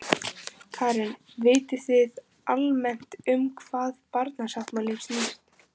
Karen: Vitið þið almennt um hvað barnasáttmálinn snýst?